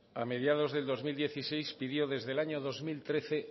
a mediados del dos mil dieciséis pidió desde el año dos mil trece